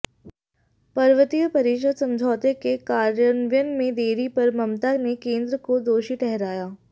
पर्वतीय परिषद समझौते के कार्यान्वयन में देरी पर ममता ने केंद्र को दोषी ठहराया